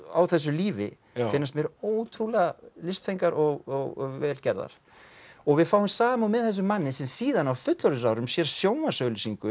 á þessu lífi finnast mér ótrúlega listfengar og vel gerðar við fáum samúð með þessum manni sem síðan á fullorðinsárum sér sjónvarpsauglýsingu